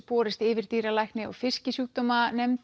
borist yfirdýralækni og